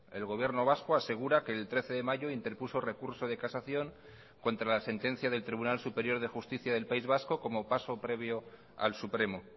el gobierno vasco asegura que el trece de mayo interpuso recurso de casación contra la sentencia del tribunal superior de justicia del país vasco como paso previo al supremo